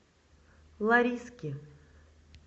лариски